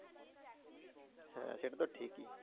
হ্যাঁ সেটা তো ঠিকই।